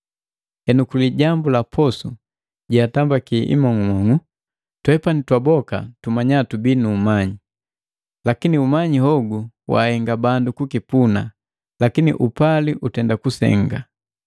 Henu kulijambu laposu yetambiki imong'umong'u. “Twepani twaboka tumanya tubii nu umanyi,” lakini umanyi hogu wahenga bandu kukipuna, lakini upali utenda kusenga.